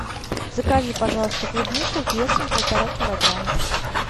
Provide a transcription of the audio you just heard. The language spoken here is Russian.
закажи пожалуйста клубнику весом полтора килограмма